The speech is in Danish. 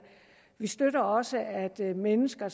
vi støtter også at mennesker